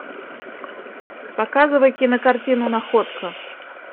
показывай кинокартину находка